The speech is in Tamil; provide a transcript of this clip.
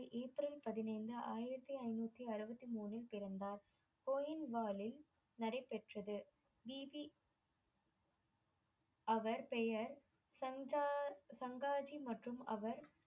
ஏப்ரல் பதினைந்து ஆயிரத்தி ஐநூத்தி அறுபத்தி மூன்றில் பிறந்தார் கோயின் வாலில் நடைபெற்றது அவர் பெயர் சங்ஜார் சங்கார் ஜி மற்றும் அவர்